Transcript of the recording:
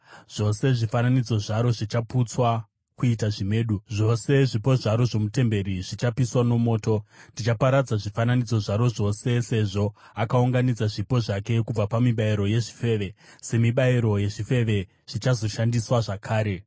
Zvose zvifananidzo zvaro zvichaputswa kuita zvimedu; zvose zvipo zvaro zvomutemberi zvichapiswa nomoto; ndichaparadza zvifananidzo zvaro zvose. Sezvo akaunganidza zvipo zvake kubva pamibayiro yezvifeve, semibayiro yezvifeve zvichazoshandiswa zvakare.”